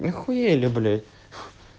ахуели блять